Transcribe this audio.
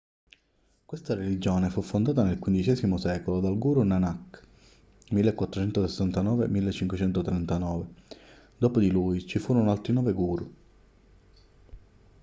questa religione fu fondata nel xv secolo dal guru nanak 1469-1539; dopo di lui ci furono altri nove guru